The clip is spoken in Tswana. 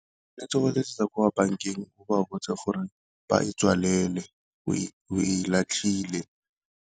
O tshwanetse go letsetsa kwa bankeng go botse gore ba e tswalele o e latlhile.